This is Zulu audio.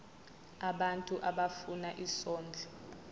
abantu abafuna isondlo